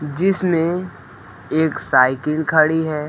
जिसमें एक साइकिल खड़ी है।